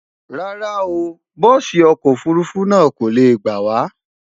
rárá o, bùsi ọkọ ofurufu náà kole gbawa